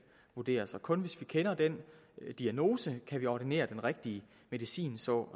vurderes og kun hvis vi kender diagnosen kan vi ordinere den rigtige medicin så